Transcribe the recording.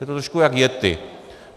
Je to trošku jako yetti.